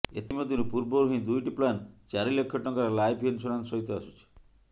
ଏଥିମଧ୍ୟରୁ ପୂର୍ବରୁ ହିଁ ଦୁଇଟି ପ୍ଲାନ ଚାରି ଲକ୍ଷ ଟଙ୍କାର ଲାଇଫ୍ ଇନସୁରାନ୍ସ ସହିତ ଆସୁଛି